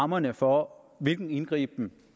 rammerne for hvilken indgriben